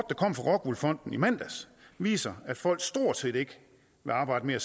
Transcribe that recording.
kom fra rockwool fonden i mandags viser at folk stort set ikke vil arbejde mere